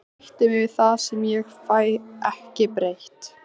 Ég sætti mig við það sem ég fæ ekki breytt.